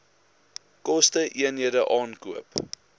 koste eenhede aankoop